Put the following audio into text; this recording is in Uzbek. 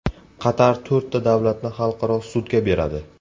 Qatar to‘rtta davlatni xalqaro sudga beradi.